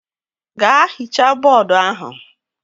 Gaa hichaa bọọdu ahụ!